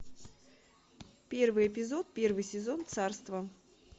первый эпизод первый сезон царство